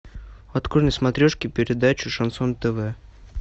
открой на смотрешке передачу шансон тв